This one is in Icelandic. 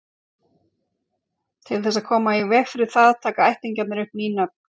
til þess að koma í veg fyrir það taka ættingjarnir upp ný nöfn